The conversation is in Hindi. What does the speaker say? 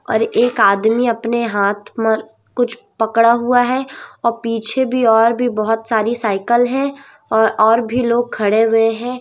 और एक आदमी अपने हाथ मर कुछ पकड़ा हुआ है और पीछे भी और भी बहोत सारी साइकल है और और भी लोग खड़े हुए हैं।